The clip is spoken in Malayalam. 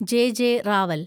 ജെ. ജെ. റാവൽ